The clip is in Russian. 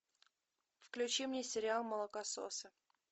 включи мне сериал молокососы